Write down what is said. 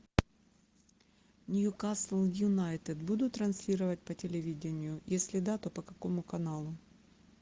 ньюкасл юнайтед будут транслировать по телевидению если да то по какому каналу